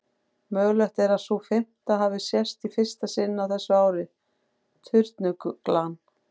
Mögulegt er að sú fimmta hafi sést í fyrsta sinn á þessu ári, turnuglan.